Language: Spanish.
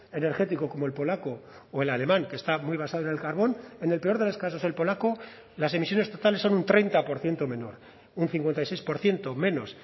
energético como el polaco o el alemán que está muy basado en el carbón en el peor de los casos el polaco las emisiones totales son un treinta por ciento menor un cincuenta y seis por ciento menos